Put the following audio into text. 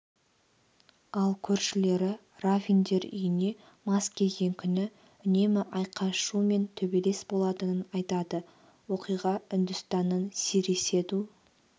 ал көршілері равиндер үйіне мас келген күні үнемі айқай-шу мен төбелес болатынын айтады оқиға үндістанның сириседу